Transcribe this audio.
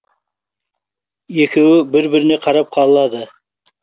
екеуі бір біріне қарап қалады